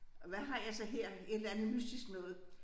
Og hvad har jeg så her et eller andet mystisk noget